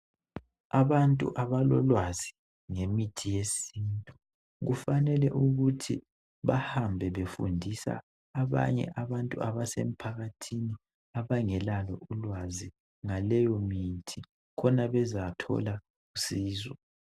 Abantu abalolwazi ngemithi yesintu kufanele ukuthi bahambe befundisa abanye abantu abasemphakathini abangelalo ulwazi ngaleyo mithi khona bezathola usizo.